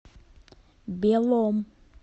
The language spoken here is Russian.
белом